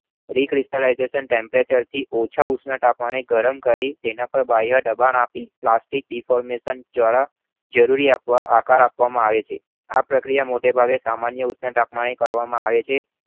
Re-crystlization temperature થી વધુ ઉષ્ણતામાને ગરમ કરી તેના પર બાહ્ય બળ આપી પ્લાસ્ટિક diformathion દ્વારા જરૂરી આકાર આપવામાં આવે છે. આ પ્રક્રિયા સામાન્ય તથા ઓછા તાપમાને કરવામાં આવે છે